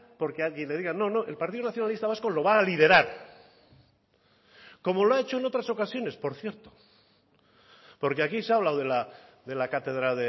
porque alguien le diga no no el partido nacionalista vasco lo va a liderar como lo ha hecho en otras ocasiones por cierto porque aquí se ha hablado de la cátedra